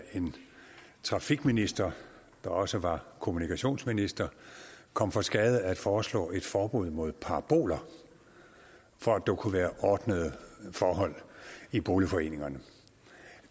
en trafikminister der også var kommunikationsminister kom for skade at foreslå et forbud mod paraboler for at der kunne være ordnede forhold i boligforeningerne